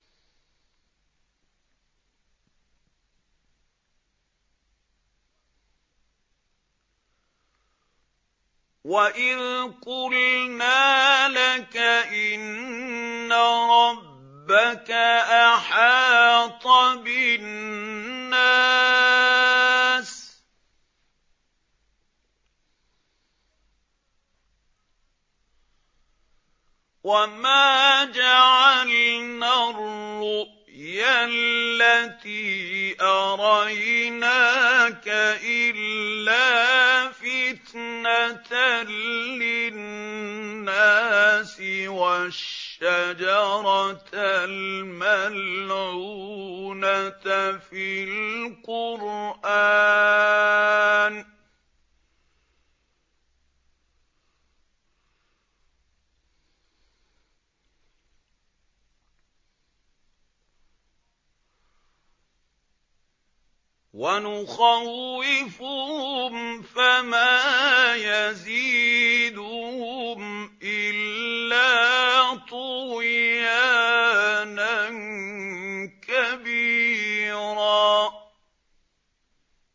وَإِذْ قُلْنَا لَكَ إِنَّ رَبَّكَ أَحَاطَ بِالنَّاسِ ۚ وَمَا جَعَلْنَا الرُّؤْيَا الَّتِي أَرَيْنَاكَ إِلَّا فِتْنَةً لِّلنَّاسِ وَالشَّجَرَةَ الْمَلْعُونَةَ فِي الْقُرْآنِ ۚ وَنُخَوِّفُهُمْ فَمَا يَزِيدُهُمْ إِلَّا طُغْيَانًا كَبِيرًا